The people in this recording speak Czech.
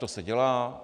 To se dělá.